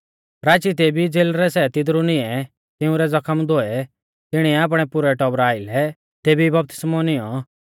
राची तेभी ई ज़ेलरै सै तिदरु निंऐ तिंउरै ज़खम धोऐ तिणीऐ आपणै पुरै टौबरा आइलै तेभी ई बपतिस्मौ निऔं